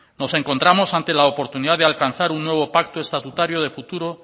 nos encontramos ante la oportunidad de alcanzar un nuevo pacto estatutario de futuro